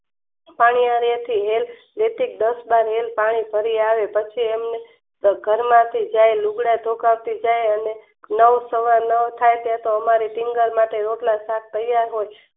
પાણી આરે થી હેલ દસ બાર હેલ પાણી ભરી આવો પછી એમને ઘર માંથી લૂગડાં ધોકાવતી ત્યારે નવ સવા નવ થાય જાય છે ત્યાં તો અમારે રોટલા શાક તૈયાર હોય